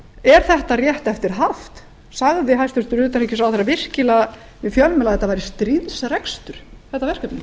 er þetta rétt eftir haft sagði hæstvirtur utanríkisráðherra virkilega við fjölmiðla að þetta væri stríðsrekstur þetta verkefni